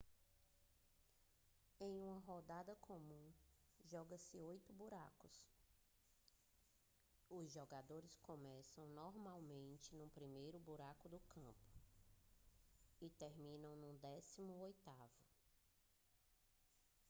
em uma rodada comum joga-se oito buracos os jogadores começam normalmente no primeiro buraco do campo e terminam no décimo oitavo